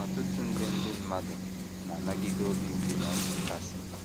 Ọtụtụ nde ndị mmadụ na - anagide obi mgbu na nchekasị.